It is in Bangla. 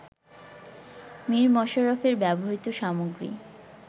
মীর মশাররফের ব্যবহৃত সামগ্রী